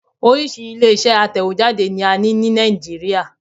Orísìí ilé-iṣẹ́ atẹ̀wéjáde ni a ní Nàìjíríà